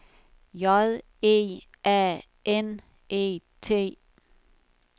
J E A N E T